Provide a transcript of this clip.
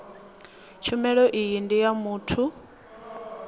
tshumelo iyi ndi ya muthu